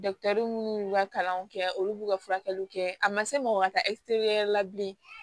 minnu y'u ka kalanw kɛ olu b'u ka furakɛliw kɛ a ma se mɔgɔ ka taa wɛrɛ la bilen